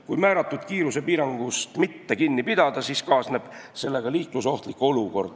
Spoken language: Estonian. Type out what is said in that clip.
Kui määratud kiirusepiirangust mitte kinni pidada, siis kaasneb sellega liiklusohtlik olukord.